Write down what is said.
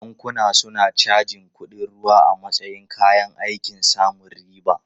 Bankuna suna cajin kuɗin ruwa a matsayin kayan aikin samun riba.